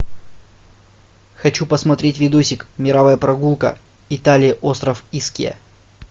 хочу посмотреть видосик мировая прогулка италия остров искья